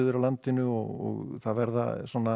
af landinu og það verða svona